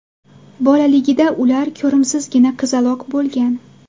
Bolaligida ular ko‘rimsizgina qizaloq bo‘lgan.